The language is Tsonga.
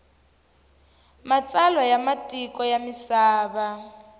matsalwa ya matiko ya misava